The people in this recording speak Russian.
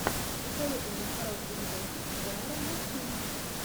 посоветуй мне хороший видосик жанра мультфильм